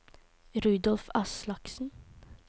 Rudolf Aslaksen